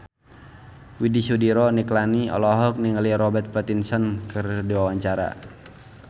Widy Soediro Nichlany olohok ningali Robert Pattinson keur diwawancara